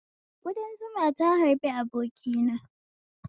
Kudan zuma ta harbi abokina